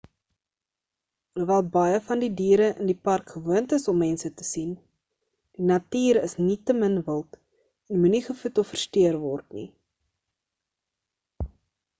alhoewel baie van die diere in die park gewoond is om mense te sien die natuur is nietemin wild en moenie gevoed of versteur word nie